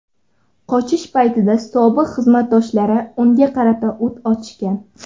Qochish paytida sobiq xizmatdoshlari unga qarata o‘t ochgan.